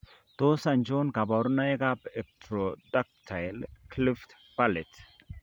Tos achon kabarunaik ab Ectrodactyly cleft palate ?